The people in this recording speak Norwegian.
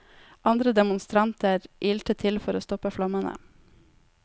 Andre demonstranter ilte til for å stoppe flammene.